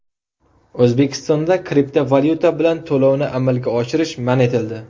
O‘zbekistonda kriptovalyuta bilan to‘lovni amalga oshirish man etildi.